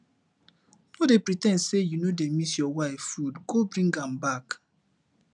no dey pre ten d say you no dey miss your wife food go bring am back